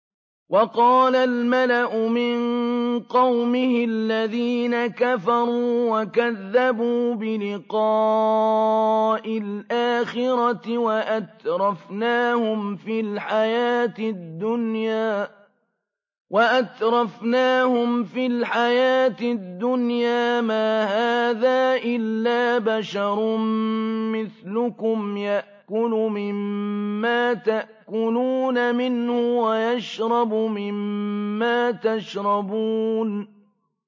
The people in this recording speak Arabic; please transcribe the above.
وَقَالَ الْمَلَأُ مِن قَوْمِهِ الَّذِينَ كَفَرُوا وَكَذَّبُوا بِلِقَاءِ الْآخِرَةِ وَأَتْرَفْنَاهُمْ فِي الْحَيَاةِ الدُّنْيَا مَا هَٰذَا إِلَّا بَشَرٌ مِّثْلُكُمْ يَأْكُلُ مِمَّا تَأْكُلُونَ مِنْهُ وَيَشْرَبُ مِمَّا تَشْرَبُونَ